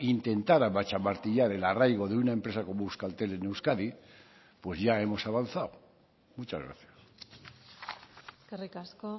intentar amachamartillar el arraigo de una empresa como euskaltel en euskadi pues ya hemos avanzado muchas gracias eskerrik asko